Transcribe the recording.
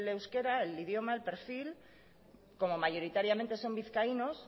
euskera el idioma el perfil como mayoritariamente son vizcaínos